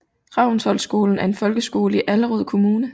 Ravnsholtskolen er en folkeskole i Allerød Kommune